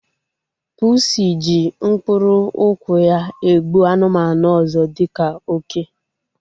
Pusi ji mkpụrụ ụkwụ ya egbu anụmanụ ọzọ dịka oke